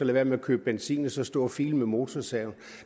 være med at købe benzin og så stå og file med motorsaven